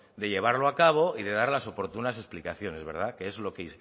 de llevarlo a cabo y de dar las oportunas explicaciones que es